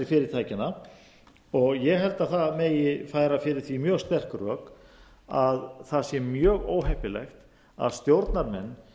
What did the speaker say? fyrirtækjanna og ég held að það megi færa fyrir því mjög sterk rök að það sé mjög óheppilegt að stjórnarmenn